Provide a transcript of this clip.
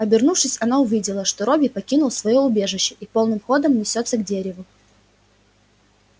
обернувшись она увидела что робби покинул своё убежище и полным ходом несётся к дереву